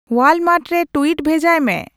Walmart ᱨᱮ tweet ᱵᱷᱮᱡᱟᱭ ᱢᱮ